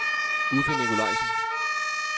Uffe Nicolajsen